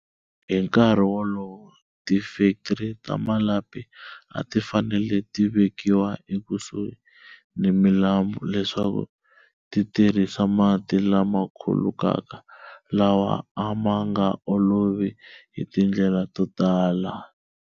Hi nkarhi wolowo, tifektri ta malapi a ti fanele ti vekiwa ekusuhi ni milambu leswaku ti tirhisa mati lama khulukaka, lawa a ma nga olovi hi tindlela to tala.